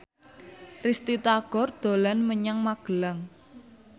Risty Tagor dolan menyang Magelang